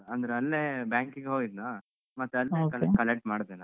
ಅಂದ್ರೆ ಅಲ್ಲೇ bank ಗೆ ಹೋಗಿದ್ನ ಮತ್ತೆ ಅಲ್ಲೇ collect ಮಾಡ್ದೆ ನಾನು.